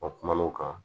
A kum'o kan